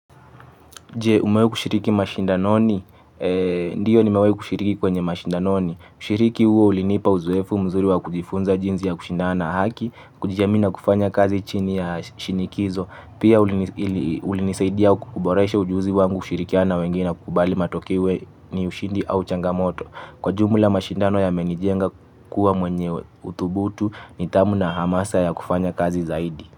Umewai kushiriki mashindanoni? Ndiyo nimewai kushiriki kwenye mashindanoni. Kushiriki uo ulinipa uzoefu mzuri wa kujifunza jinzi ya kushindana haki, kujiamini na kufanya kazi chini ya shinikizo. Pia ulinisaidia kukuboresha ujuzi wangu kushirikiana na wengine kubali matokeo iwe ni ushindi au changamoto. Kwa jumla mashindano yamenijenga kuwa mwenye utubutu ni tamu na hamasa ya kufanya kazi zaidi.